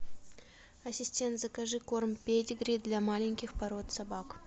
ассистент закажи корм педигри для маленьких пород собак